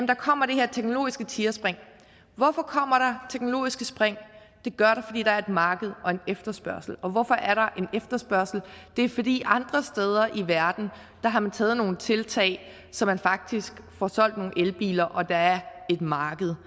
der kommer det her teknologiske tigerspring hvorfor kommer der teknologiske spring det gør der fordi der er et marked og en efterspørgsel og hvorfor er der en efterspørgsel det er fordi andre steder i verden har man taget nogle tiltag så man faktisk får solgt nogle elbiler og der er et marked